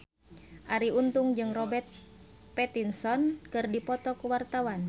Arie Untung jeung Robert Pattinson keur dipoto ku wartawan